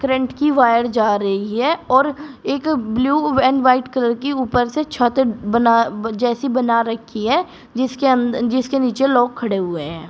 Rent की wire जा रही है और एक ब्लू एंड व्हाइट कलर की ऊपर से छत बना जैसी बना रखी है जिसके अन जिसके नीचे लोग खड़े हुए हैं।